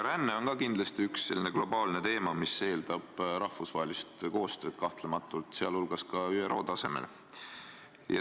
Ränne on ka kindlasti globaalne teema, mis eeldab kahtlemata rahvusvahelist koostööd, sh ÜRO tasemel.